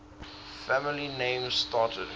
family names started